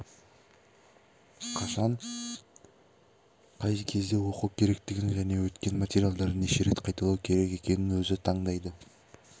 қашан қай кезде оқу керектігін және өткен материалдарын неше рет қайталау керек екенін өзі таңдайды